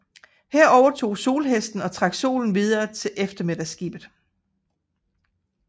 Her overtog solhesten og trak solen videre til eftermiddagsskibet